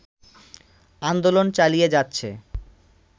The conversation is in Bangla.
আন্দোলন চালিয়ে যাচ্ছে